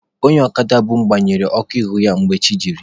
Onye ọkada bu mụ gbanyere ọkụ ihu ya mgbe chi jiri.